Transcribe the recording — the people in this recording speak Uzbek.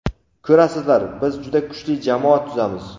Ko‘rasizlar, biz juda kuchli jamoa tuzamiz.